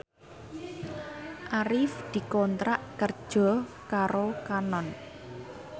Arif dikontrak kerja karo Canon